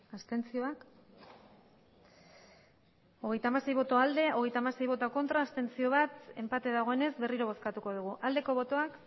abstentzioa hogeita hamasei bai hogeita hamasei ez bat abstentzio enpate dagoenez berriro bozkatuko dugu aldeko botoak